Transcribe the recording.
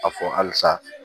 A fɔ halisa